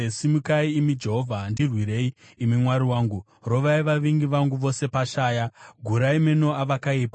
Simukai, imi Jehovha! Ndirwirei, imi Mwari wangu! Rovai vavengi vangu vose pashaya; gurai meno avakaipa.